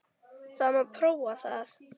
Það mátti prófa það.